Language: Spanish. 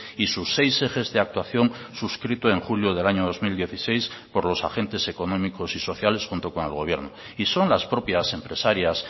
y sus seis ejes de actuación suscrito en julio del año dos mil dieciséis por los agentes económicos y sociales junto con el gobierno y son las propias empresarias